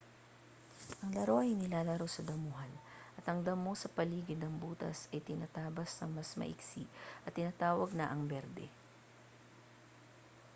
ang laro ay nilalaro sa damuhan at ang damo sa paligid ng butas ay tinatabas nang mas maigsi at tinatawag na ang berde